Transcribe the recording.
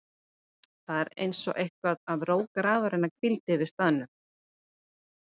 Það var einsog eitthvað af ró grafarinnar hvíldi yfir staðnum.